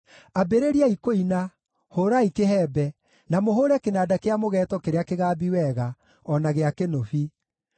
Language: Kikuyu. Ambĩrĩriai kũina, hũũrai kĩhembe, na mũhũũre kĩnanda kĩa mũgeeto kĩrĩa kĩgambi wega, o na gĩa kĩnũbi.